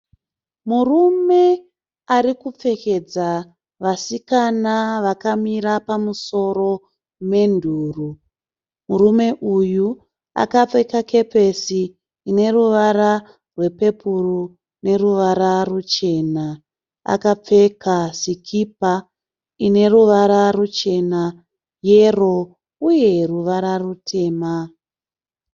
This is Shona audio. Murume arikupfekedza vasikana vakamira pamusoro menduro. Murume uyu akapfeka kepesi ineruvara rwepepuru neruvara ruchena. Akapfeka sikipa ineruvara ruchena, yero uye ruvara rutema.